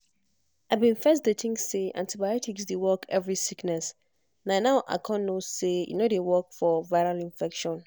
i bin first dey think say antibiotics dey work every sickness na now i con know say e no dey work for viral infection.